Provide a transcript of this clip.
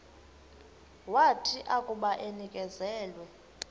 wathi akuba enikezelwe